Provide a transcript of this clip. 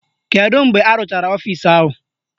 Kedu mgbe arụchara ọfisi ahụ?